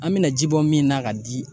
An mina ji bɔ min na ka di